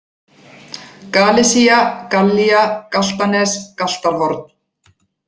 Galisía, Gallía, Galtanes, Galtarhorn